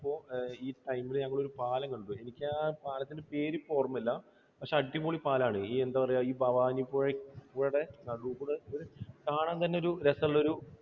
ഈ time ൽ ഞങ്ങൾ ഒരു പാലം കണ്ടു. എനിക്ക് ആ പാലത്തിൻറെ പേര് ഇപ്പോൾ ഓർമ്മയില്ല. പക്ഷേ അടിപൊളി പാലമാണ്. എന്താ പറയുക, ഈ ഭവാനിപ്പുഴക്ക് കാണാൻ തന്നെ രസമുള്ള ഒരു